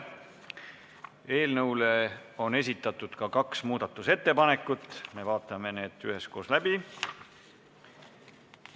Eelnõu kohta on esitatud ka kaks muudatusettepanekut, me vaatame need üheskoos läbi.